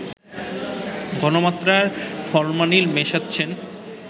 ঘনমাত্রার ফরমালিন মেশাচ্ছেন